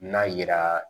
N'a yira